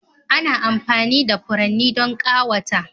Ana amfani da furanni don ƙawata